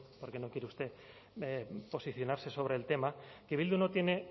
porque no quiere usted posicionarse sobre el tema que bildu no tiene